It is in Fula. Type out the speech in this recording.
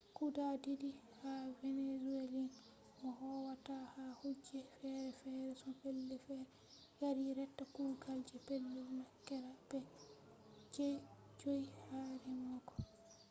guda didi ha venezuelans mo howata ha kuje fere-fere her pellei fere yari reta kugal je pellel makera be je 5 ha remogo